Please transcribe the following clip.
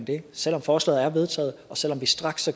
det selv om forslaget er vedtaget og selv om vi straks